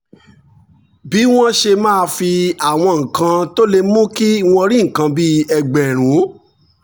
bí wọ́n ṣe máa fi àwọn nǹkan tó lè mú kí wọ́n rí nǹkan bí ẹgbẹ̀rún